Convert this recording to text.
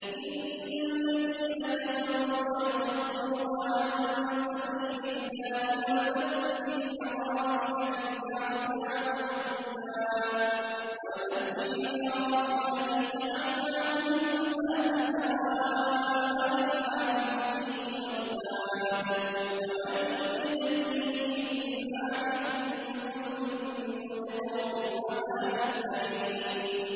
إِنَّ الَّذِينَ كَفَرُوا وَيَصُدُّونَ عَن سَبِيلِ اللَّهِ وَالْمَسْجِدِ الْحَرَامِ الَّذِي جَعَلْنَاهُ لِلنَّاسِ سَوَاءً الْعَاكِفُ فِيهِ وَالْبَادِ ۚ وَمَن يُرِدْ فِيهِ بِإِلْحَادٍ بِظُلْمٍ نُّذِقْهُ مِنْ عَذَابٍ أَلِيمٍ